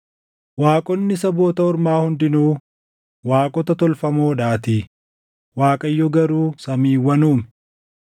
Waaqonni saboota ormaa hundinuu waaqota tolfamoodhaatii; Waaqayyo garuu samiiwwan uume.